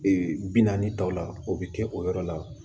Ee bi naani ta o la o be kɛ o yɔrɔ la